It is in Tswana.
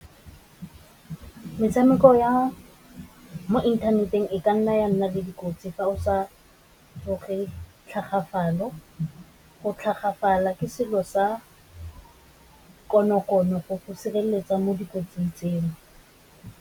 Metshameko ya mo inthaneteng e ka nna ya nna le dikotsi fa o sa loge tlhagafalo, go tlhagafalo ke selo sa konokono go go sireletsa mo dikotsing tseo.